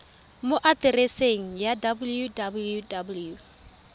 mo atereseng eno ya www